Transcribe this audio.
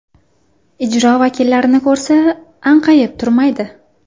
Ijro vakillarini ko‘rsa, anqayib turmaydi.